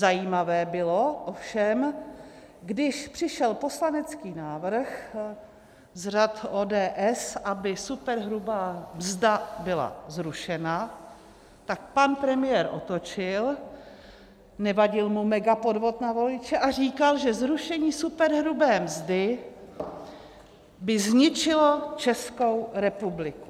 Zajímavé bylo ovšem, když přišel poslanecký návrh z řad ODS, aby superhrubá mzda byla zrušena, tak pan premiér otočil, nevadil mu megapodvod na voliče a říkal, že zrušení superhrubé mzdy by zničilo Českou republiku.